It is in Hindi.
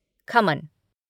खमन